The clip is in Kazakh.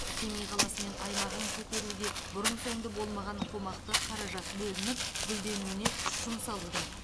семей қаласы мен аймағын көтеруге бұрын соңды болмаған қомақты қаражат бөлініп гүлденуіне күш жұмсалуда